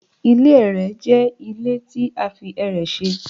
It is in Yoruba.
Ile ẹrẹ jẹ ile ti a fi ẹrẹ ṣe